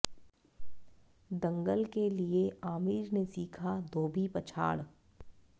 दंगल के लिए आमिर ने सीखा धोबी पछाड़